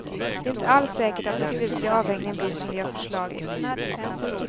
Det är inte alls säkert att den slutliga avvägningen blir som vi har förslagit.